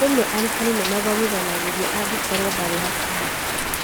Rĩmwe arutani nĩmathomithanagĩria angĩkorwo ndarĩ hakuhĩ